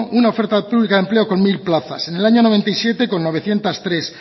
una oferta pública de empleo con mil plazas en el año mil novecientos noventa y siete con novecientos tres